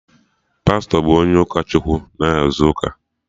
Pastọ bụ onye ụkọ Chukwu na-ahazi ụka